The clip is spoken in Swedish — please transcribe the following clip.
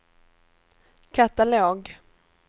katalog